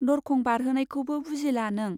दरखं बारहोनायखौबो बुजिला नों ?